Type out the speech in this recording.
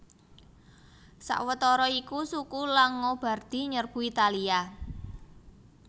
Sawetara iku suku Langobardi nyerbu Italia